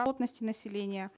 плотности населения